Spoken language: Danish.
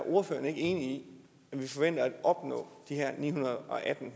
ordføreren ikke enig i at vi forventer at opnå de her ni hundrede og atten